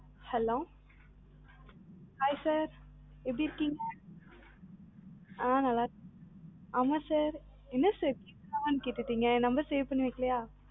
hello hi sir எப்படி இருக்கீங்க ஆ நல்லா இறுக்கிகளா ஆமாம் sir என்ன sir ஆஹ்ன்னு கேட்டி number save பண்ணிவைக்கலயா